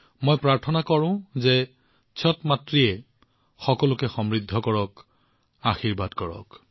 মই প্ৰাৰ্থনা কৰিছো যে ছট মাইয়াই সকলোকে সমৃদ্ধি আৰু কল্যাণৰ আশীৰ্বাদ দিয়ক